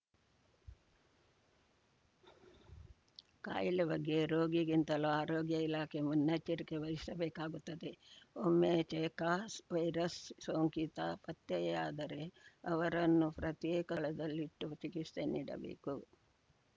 ಕಾಯಿಲೆ ಬಗ್ಗೆ ರೋಗಿಗಿಂತಲೂ ಆರೋಗ್ಯ ಇಲಾಖೆ ಮುನ್ನೆಚ್ಚರಿಕೆ ವಹಿಸಬೇಕಾಗುತ್ತದೆ ಒಮ್ಮೆ ಜೀಕಾ ವೈರಸ್‌ ಸೋಂಕಿತ ಪತ್ತೆಯಾದರೆ ಅವರನ್ನು ಪ್ರತ್ಯೇಕ ಸ್ಥಳದಲ್ಲಿಟ್ಟು ಚಿಕಿತ್ಸೆ ನೀಡಬೇಕು